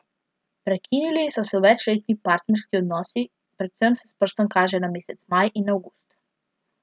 Prekinili so se večletni partnerski odnosi, predvsem se s prstom kaže na mesec maj in avgust.